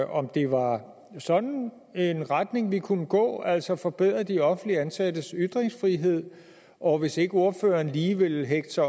om det var sådan en retning vi kunne gå altså at forbedre de offentligt ansattes ytringsfrihed og hvis ikke ordføreren lige vil hægte